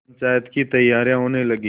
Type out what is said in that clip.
पंचायत की तैयारियाँ होने लगीं